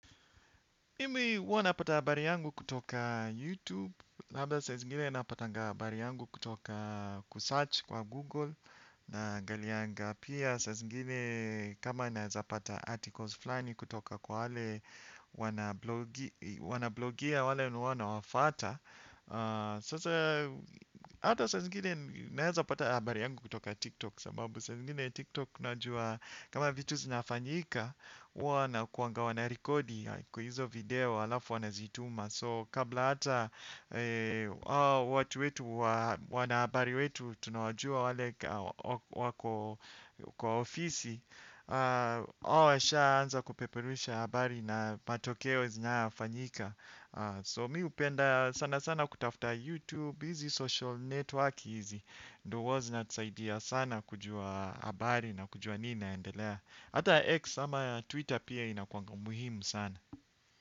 Mimi huwa napata habari yangu kutoka YouTube labda saa zingine napatanga habari yangu kutoka kusearch kwa Google. Naangalianga pia saa zingine kama naeza pata articles flani kutoka kwa wale wanablogia wale wenye huwa nawafuata. Sasa hata saa zingine naeza pata habari yangu kutoka TikTok. Sababu saa zingine TikTok unajua kama vitu zinafanyika. Huwa wanakuanga wanarikodi kwa hizo video halafu wanazituma So kabla hata watu wetu wanahabari wetu tunawajua wale kwa ofisi. Hao washaanza kupeperusha habari na matokeo zinayofanyika So mi hupenda sana sana kutafuta YouTube busy social network hizi ndo huwa zinatusaidia sana kujua habari na kujua nini inaendelea. Hata X ama Twitter pia inakuanga muhimu sana.